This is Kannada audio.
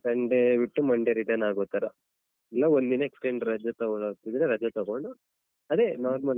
Sunday ಬಿಟ್ಟು Monday return ಆಗೋ ತರ ಇಲ್ಲ ಒಂದು ದಿನ extend ರಜೆ ತಗೊಳ್ತಿದ್ರೆ ರಜೆ ತಗೊಂಡ್ ಅದೇ normal .